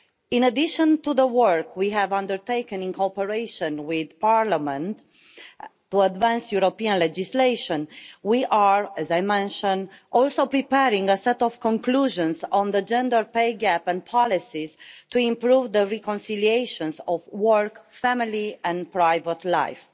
In addition to the work we have undertaken in cooperation with Parliament to advance European legislation, we are also as I mentioned preparing a set of conclusions on the gender pay gap and policies to improve the reconciliation of work, family and private life.